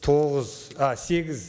тоғыз а сегіз